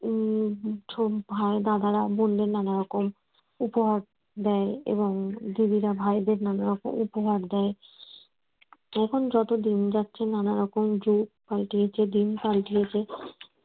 উম ভাই দাদারা বোনদের নানারকম উপহার দেয় এবং দিদিরা ভাইদের নানা রকম উপহার দেয়। এখন যত দিন যাচ্ছে নানারকম যুগ পাল্টিয়েছে দিন পাল্টিয়েছে